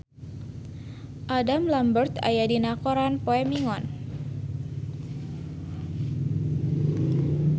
Adam Lambert aya dina koran poe Minggon